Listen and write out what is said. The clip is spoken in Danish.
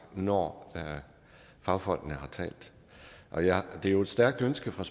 når fagfolkene har talt det er jo et stærkt ønske fra